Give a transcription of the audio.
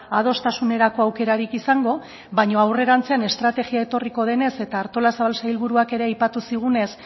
adostasunerako aukerarik izango baino aurrerantzean estrategia etorriko denez eta artolazabal sailburuak ere aipatu zigunez